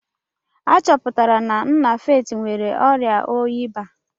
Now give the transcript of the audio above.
A chọpụtara na nna Faith nwere ọrịa oyi baa.